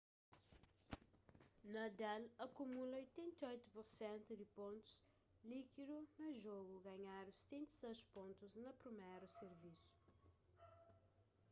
nadal akumula 88% di pontus líkidu na jogu ganhandu 76 pontus na priméru sirvisu